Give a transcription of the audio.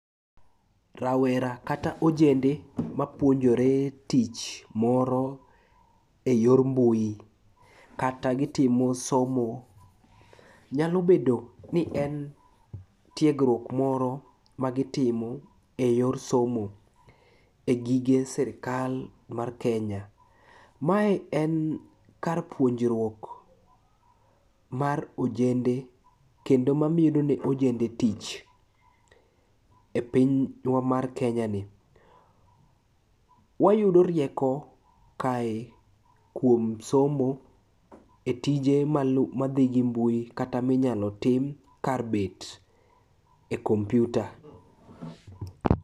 Rawera kata ojende mapuonjore tich moro e yor mbui kata gitimo somo. Nyalo bedo ni en tiegruok moro magitimo e yor somo e gige sirikal mar Kenya. Mae en kar puonjruok mar ojende kendo mamedone ojende tich e pinywa mar Kenyani. Wayudo rieko kae kuom somo e tije madhi gi mbui kata minyalo tim kar bet e kompiuta.